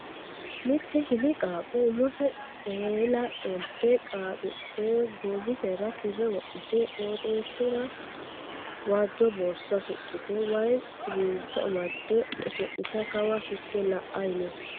Mitte hili qaaqqo umose eela qolte xaaxidhe goowisera kirre wodhite qoxisera waajjo borsa suxxite wayii siwiilicho amadde oso'litayi kawa higge la'ayi no.